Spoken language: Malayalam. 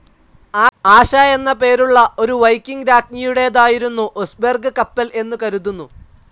ആശ എന്ന പേരുള്ള ഒരു വൈക്കിംഗ്‌ രാജ്ഞിയുടേതായിരുന്നു ഒസ്ബെർഗ് കപ്പൽ എന്ന് കരുതുന്നു.